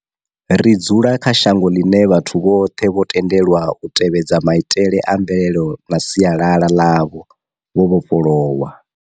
Ri dzula kha shango ḽine vhathu vhoṱhe vho tendelwa u tevhedza maitele a mvelele na sialala ḽavho vho vhofholowa.